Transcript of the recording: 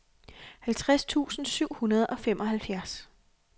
halvtreds tusind syv hundrede og femoghalvfjerds